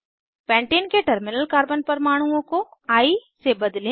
pentane के terminal carbon परमाणुओं को आई से बदलें